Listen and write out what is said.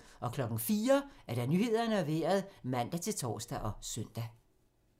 04:00: Nyhederne og Vejret (man-tor og søn)